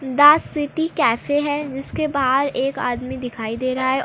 the city cafe है जिसके बाहर एक आदमी दिखाई दे रहा है और--